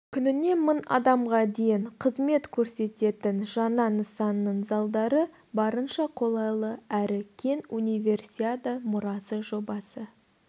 күніне мың адамға дейін қызмет көрсететін жаңа нысанның залдары барынша қолайлы әрі кең универсиада мұрасы жобасы